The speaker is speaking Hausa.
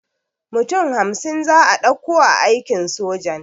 Mutum hamsin za'a ɗauka a aikin sojan